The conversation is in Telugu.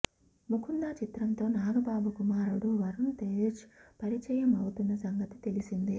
ముకుందా చిత్రంతో నాగబాబు కుమారుడు వరుణ్ తేజ పరిచయం అవుతున్న సంగతి తెలిసిందే